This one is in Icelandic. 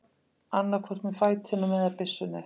Annaðhvort með fætinum eða byssunni.